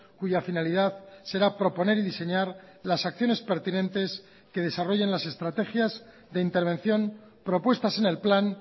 cuya finalidad será proponer y diseñar las acciones pertinentes que desarrollen las estrategias de intervención propuestas en el plan